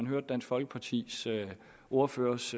hørt dansk folkepartis ordførers